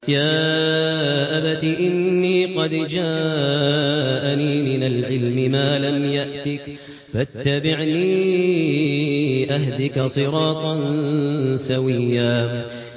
يَا أَبَتِ إِنِّي قَدْ جَاءَنِي مِنَ الْعِلْمِ مَا لَمْ يَأْتِكَ فَاتَّبِعْنِي أَهْدِكَ صِرَاطًا سَوِيًّا